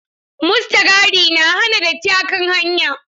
Mustagadi na hana datti a kan hanya.